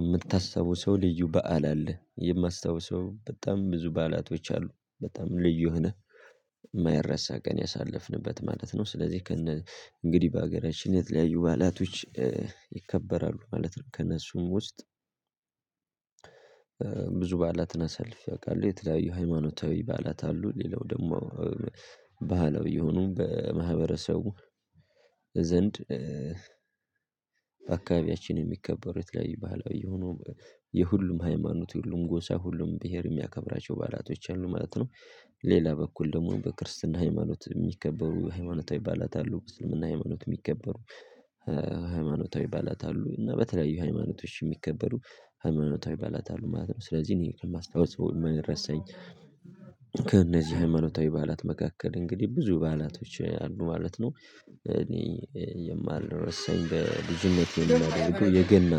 እምታስታውሰው ልዩ በዓል አለ የማስታውሰው በጣም ብዙ በዓላቶች አሉ በጣም ልዩ ሆነህ እማይረሳ ቀን ያሳለፍንበት ማለት ነው። ስለዚህ ከነ እንግዲህ በአገራችን የተለያዩ በዓላቶች ይከበራሉ ማለት ነው። ከእነሱም ውስጥ ብዙ በዓላትን አሳልፌ አውቃለሁ የተለያዩ ሃይማኖታዊ በዓላት አሉ ሌላው ደግሞ ባህላዊ የሆኑ በማህበረሰቡ ዘንድ በአካባቢያችን የሚከበሩ የተለያዩ ባህላዊ የሆኑ የሁሉም ሃይማኖት የሁሉም ጎሳ ሁሉም ብሄር እሚያከብራቸው በዓላቶች አሉ ማለት ነው። ሌላ በኩል ደግሞ በክርስትና ሃይማኖት እሚከበሩ ሃይማኖታዊ በዓላት አሉ በእስልምና ሃይማኖት እሚከበሩ ሃይማኖታዊ በዓላት አሉ እና በተለያዩ ሃይማኖቶች እሚከበሩ ሃይማኖታዊ በዓላት አሉ ማለት ነው። ስለዚህ እኔ ከማስታውሰው ወይ እማይረሳኝ ከእነዚህ ሃይማኖታዊ በዓላት መካከል እንግዲህ ብዙ በዓላቶች አሉ ማለት ነው። እኔ የማይረሳኝ በብዙነት የምናደርገው የገና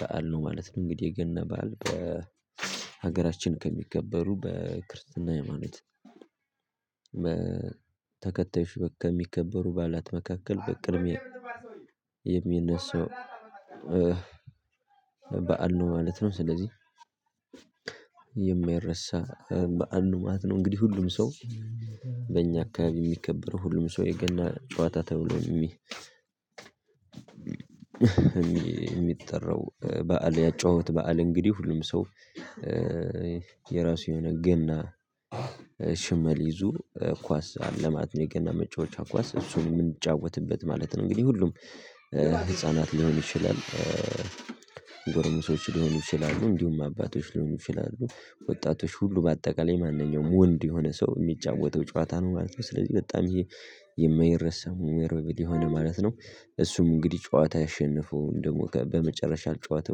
በዓል ነው ማለት ነው። እንግዲህ የገና በዓል በሀገራችን ከሚገበሩ በክርስትና ኃይማኖት ተከታይ ከሚከበሩ በዓላት መካከል በቅድሚያ የሚነሳው በዓል ነው ማለት ነው። ስለዚህ የማይረሳ በዓል ነው ማለት ነው። እንግዲህ ሁሉም ሰው በእኛ አካባቢ እሚከበረው ሁሉም ሰው የገና ጨዋታ ተብሎ የእሚጠራው በዓል ያጨዋወት በዓል እንግዲህ ሁሉም ሰው የራሱ የሆነ ገና ሽመል ይዞ ኳስ አለ ማለት ነው። የገና መጫወቻ ኳስ እሱን እምንጫወትበት ማለት ነው። እንግዲህ ሁሉም ህፃናት ሊሆን ይችላል ጎረምሶች ሊሆኑ ይችላሉ እንዲሁም አባቶች ሊሆኑ ይችላሉ ወጣቶች ሁሉ በአጠቃላይ ማንኛውም ወንድ የሆነ ሰው እሚጫወተው ጨዋታ ነው ማለት ነው። ስለዚህ በጣም ይሄ የማይረሳው ሚሞሬብል የሆነ ማለት ነው። እሱም እንግዲህ ጨዋታ ያሸነፈው ደግሞ በመጨረሻ ጨዋታ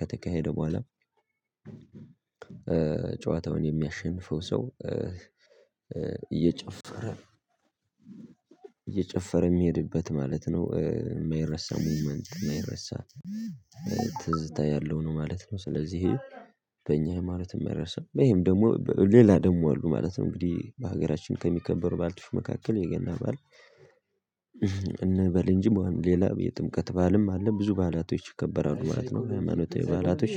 ከተካሄደ በኋላ ጨዋታውን የሚያሸንፈው ሰው እየጨፈረ እየጨፈረ እሚሄድበት ማለት ነው እማይረሳ ሙቭመንት እማይረሳ ትዝታ ያለው ነው ማለት ነው። ስለዚህ በእኛ እምረሳው ይሄም ደግሞ ሌላ ደግሞ አሉ ማለት ነው። እንግዲህ በሀገራችን ከሚከበሩ በዓላቶች መካከል የገና በዓል እንበል እንጂ ሌላ የጥምቀት በዓልም አለ ብዙ በዓላቶች ይከበራሉ ማለት ነው። ኃይማኖታዊ ባላቶች